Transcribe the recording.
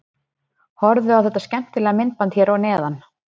Horfðu á þetta skemmtilega myndband hér að neðan.